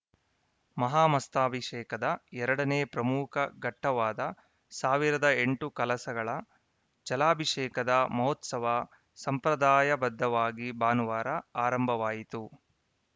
ಮಹಾಮಸ್ತಾಭಿಷೇಕದ ಎರಡನೇ ಪ್ರಮುಖ ಘಟ್ಟವಾದ ಸಾವಿರದ ಎಂಟು ಕಳಸಗಳ ಜಲಾಭಿಷೇಕದ ಮಹೋತ್ಸವ ಸಂಪ್ರದಾಯಬದ್ಧವಾಗಿ ಭಾನುವಾರ ಅರಂಭವಾಯಿತು